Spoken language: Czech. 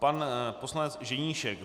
Pan poslanec Ženíšek.